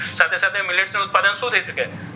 સાથે સાથે millets નું ઉત્પાદન શું થઈ શકે?